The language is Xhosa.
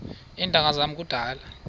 iintanga zam kudala